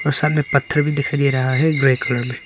सामने पत्थर भी दिखाई दे रहा है ग्रे कलर मे।